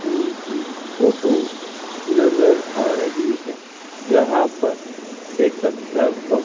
school की photo नजर आ रही है जहां पर एक अध्यापक --